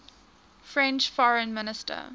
french foreign minister